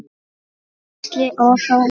Gísli og Þóra.